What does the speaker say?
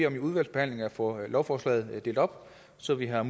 om i udvalgsbehandlingen at få lovforslaget delt op så vi har